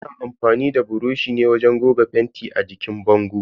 Ana amfani da buroshi ne wajen goga fenti a jikin bango.